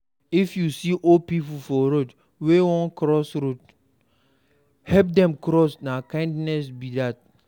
If you see old pipo for road wey won cross help them cross na kindness be that